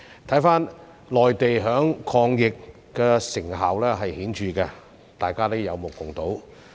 回看內地，抗疫成效顯著，這是大家有目共睹的。